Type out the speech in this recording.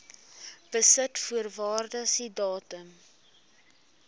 besit voor waardasiedatum